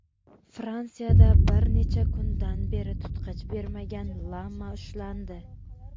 Fransiyada bir necha kundan beri tutqich bermagan lama ushlandi.